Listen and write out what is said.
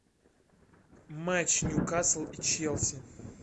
матч ньюкасл и челси